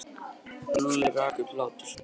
Lúlli rak upp hláturroku.